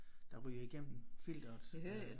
Der ryger igennem filteret øh